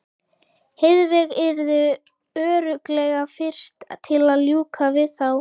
Heiðveig yrði örugglega fyrst til að ljúka við það.